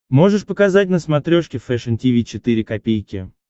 можешь показать на смотрешке фэшн ти ви четыре ка